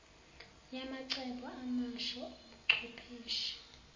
yamacebo amasha obuchwepheshe